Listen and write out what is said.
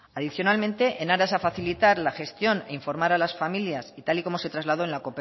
adicionalmente en aras a facilitar la gestión e informar a las familias y tal y como se trasladó en la